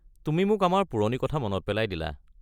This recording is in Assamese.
তুমি মোক আমাৰ পুৰণি কথা মনত পেলাই দিলা।